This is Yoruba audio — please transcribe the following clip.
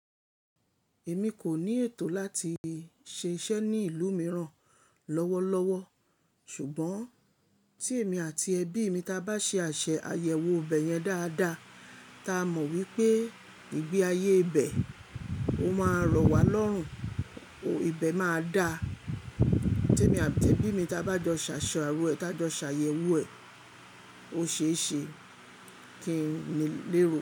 Èmi kò ní ètò láti ṣiṣẹ́ ní ìlú mìíràn lọ́wọ́ lọ́wọ́ ṣùgbọ́n tí èmi àti ẹbí mi ta bá ṣe àṣẹ àyẹ̀wò ibẹ̀ yẹn dáadáa, ta mọ̀ wípé ìgbé ayé ibẹ̀, ó máa rọ̀ wá lọ́rùn, ibẹ̀ máa da. Tí èmi àti ẹbí mi ta bá jọ ṣàṣọ ààrò ẹ, tá jọ ṣàyẹ̀wò ẹ̀, ó ṣe é ṣe kí n lérò.